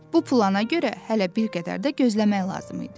Bu plana görə hələ bir qədər də gözləmək lazım idi.